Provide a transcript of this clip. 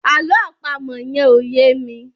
àlọ́ àpamọ̀ yen ọ̀ ye mí